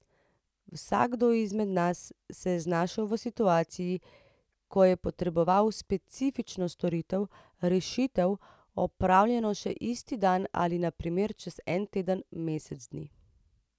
Vsakdo izmed nas se je znašel v situaciji, ko je potreboval specifično storitev, rešitev, opravljeno še isti dan ali na primer čez en teden, mesec dni.